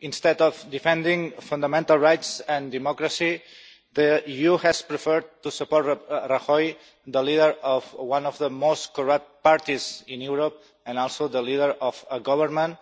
Instead of defending fundamental rights and democracy, the EU has preferred to support Rajoy, the leader of one of the most corrupt parties in Europe and also the leader of a government